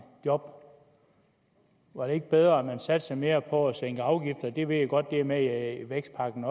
job var det ikke bedre at man satsede mere på at sænke afgifter jeg ved godt det også er med i vækstpakken